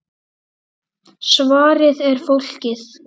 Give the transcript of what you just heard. Svarið er: Fólkið.